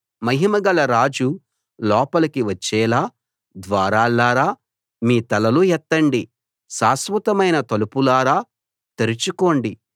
మహిమగల రాజు లోపలికి వచ్చేలా ద్వారాల్లారా మీ తలలు ఎత్తండి శాశ్వతమైన తలుపులారా తెరుచుకోండి